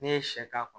N'i ye sɛ k'a kɔnɔ